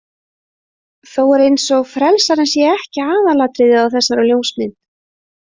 Þó er eins og frelsarinn sé ekki aðalatriðið á þessari ljósmynd.